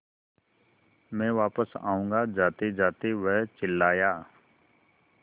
मैं वापस आऊँगा जातेजाते वह चिल्लाया